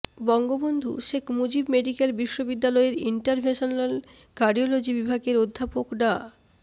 Bangabandhu Sheikh Mujib medical বিশ্ববিদ্যালয়ের interventional cardiology বিভাগের অধ্যাপক ডা